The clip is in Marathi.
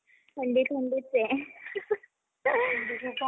थंडी थंडीचं आहे.